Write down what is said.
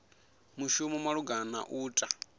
mushumi malugana na u ta